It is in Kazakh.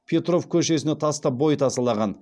петров көшесіне тастап бойтасалаған